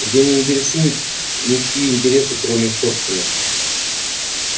людей не интересуют ничьи интересы кроме их собственных